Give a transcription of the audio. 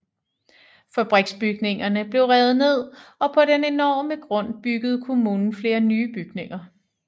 Fabriksbygningerne blev revet ned og på den enorme grund byggede kommunen flere nye bygninger